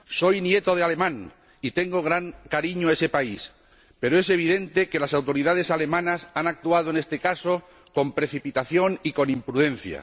Soy nieto de alemán y tengo gran cariño a ese país, pero es evidente que las autoridades alemanas han actuado, en este caso, con precipitación y con imprudencia.